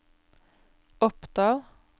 Oppdal